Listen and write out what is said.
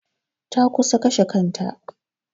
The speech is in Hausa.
Ta kusan kashe kanta.